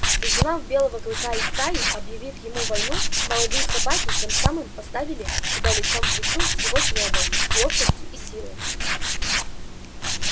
изгнав белого клыка из стаи объявив ему войну молодые собаки тем самым поставили себя лицом к лицу с его злобой ловкостью и силой